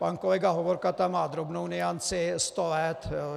Pan kolega Hovorka tam má drobnou nuanci - sto let.